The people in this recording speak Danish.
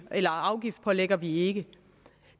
af afgiftspålægger vi ikke